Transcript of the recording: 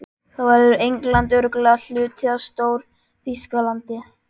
Þá verður England örugglega hluti af Stór-Þýskalandi.